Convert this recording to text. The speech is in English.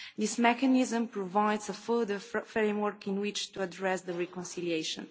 functions. This mechanism provides a further framework in which to address the